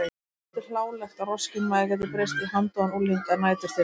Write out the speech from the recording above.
Henni þótti hlálegt að roskinn maður gæti breyst í handóðan ungling að næturþeli.